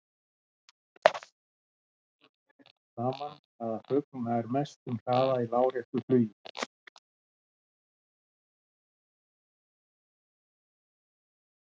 Heimildum ber ekki saman um það hvaða fugl nær mestum hraða í láréttu flugi.